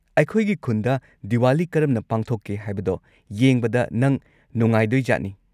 ꯑꯩꯈꯣꯏꯒꯤ ꯈꯨꯟꯗ ꯗꯤꯋꯥꯂꯤ ꯀꯔꯝꯅ ꯄꯥꯡꯊꯣꯛꯀꯦ ꯍꯥꯏꯕꯗꯣ ꯌꯦꯡꯕꯗ ꯅꯪ ꯅꯨꯡꯉꯥꯏꯗꯣꯏꯖꯥꯠꯅꯤ꯫